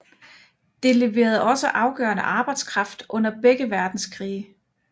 Det leverede også afgørende arbejdskraft under begge verdenskrige